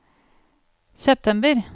september